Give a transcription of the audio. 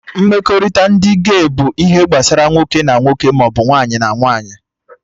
Mmekọrịta ndị gey bụ ihe gbasara nwoke na nwoke maọbụ nwaanyị na nwaanyị